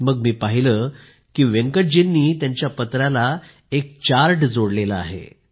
मग मी पाहिले की वेंकटजींनी त्यांच्या पत्राला एक चार्ट देखील जोडला आहे